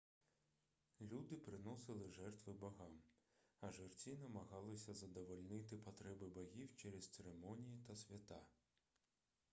люди приносили жертви богам а жерці намагались задовольнити потреби богів через церемонії та свята